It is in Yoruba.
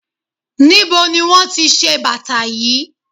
Níbo ni wón ti bàtà yí?